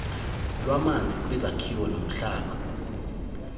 lwamanzi kwizakhiwo nomhlaba